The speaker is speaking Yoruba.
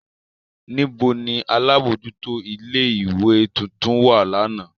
Nibo ni alabojuto ile-iwe tuntun wa làná?